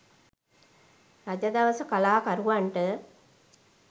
රජ දවස කලාකරුවන්ට